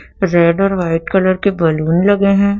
Red और white colour balloon लगे हैं।